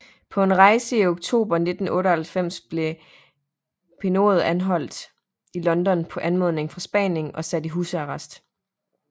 På en rejse i oktober 1998 blev Pinochet anholdt i London på anmodning fra Spanien og sat i husarrest